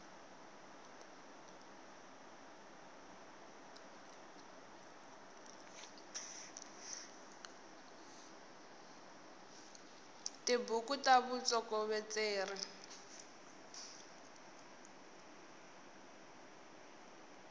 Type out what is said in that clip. tibuku ta vutsokovetseri